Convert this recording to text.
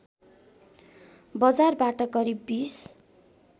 बजारबाट करिव २०